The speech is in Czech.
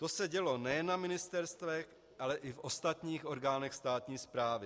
To se dělo nejen na ministerstvech, ale i v ostatních orgánech státní správy.